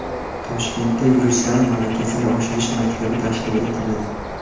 Toshkentda yuristlar malakasini oshirish maktabi tashkil etiladi.